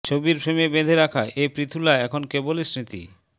ছবির ফ্রেমে বেঁধে রাখা এ পৃথুলা এখন কেবলই স্মৃতি